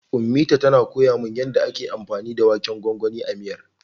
Ummita tana koya min yanda ake anfani da waken gwangwanin a miyar.